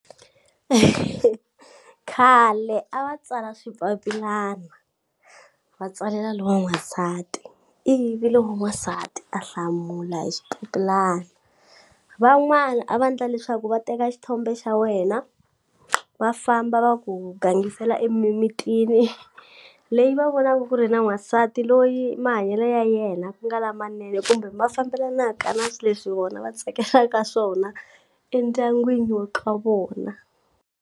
Khale a va tsala swipapilana va tsalela lowa n'wansati ivi lo n'wansati a hlamula hi swipapilani van'wani a va ndla leswaku va teka xithombe xa wena va famba va ku gangisela emimitini leyi va vonaku ku ri na n'wansati loyi mahanyelo ya yena ku nga lamanene kumbe ma fambelanaka na swi leswi vona va tsakelaka swona endyangwini wa ka vona.